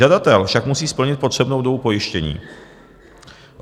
Žadatel však musí splnit potřebnou dobu pojištění.